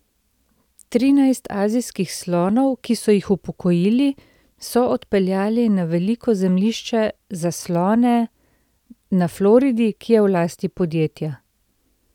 Trinajst azijskih slonov, ki so jih upokojili, so odpeljali na veliko zemljišče za slone na Floridi, ki je v lasti podjetja.